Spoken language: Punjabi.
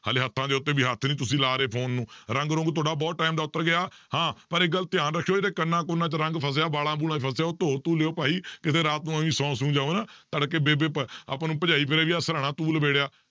ਹਾਲੇ ਹੱਥਾਂ ਦੇ ਉੱਤੇ ਵੀ ਹੱਥ ਨੀ ਤੁਸੀਂ ਲਾ ਰਹੇ phone ਨੂੰ ਰੰਗ ਰੁੰਗ ਤੁਹਾਡਾ ਬਹੁਤ time ਦਾ ਉੱਤਰ ਗਿਆ, ਹਾਂ ਪਰ ਇੱਕ ਗੱਲ ਧਿਆਨ ਰੱਖਿਓ ਜੇੜਾ ਕੰਨਾਂ ਕੁੰਨਾਂ 'ਚ ਰੰਗ ਫਸਿਆ ਵਾਲਾਂ ਵੂਲਾਂ 'ਚ ਫਸਿਆ ਉਹ ਧੋ ਧੂ ਲਇਓ ਭਾਈ ਕਿਤੇ ਰਾਤ ਨੂੰ ਸੌ ਸੂ ਜਾਓ ਨਾ ਤੜਕੇ ਬੇਬੇ ਭ~ ਆਪਾਂ ਨੂੰ ਭਜਾਈ ਫਿਰੇਗੀ ਆਹ ਸਿਰਾਹਣਾ ਤੂੰ ਲਿਬੇੜਿਆ,